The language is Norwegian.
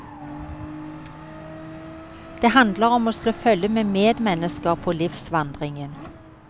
Det handler om å slå følge med medmennesker på livsvandringen.